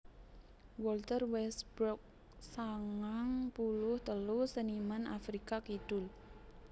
Walter Westbrook sangang puluh telu seniman Afrika Kidul